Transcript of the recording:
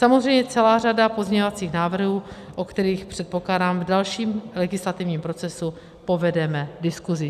Samozřejmě celá řada pozměňovacích návrhů, o kterých, předpokládám, v dalším legislativním procesu povedeme diskusi.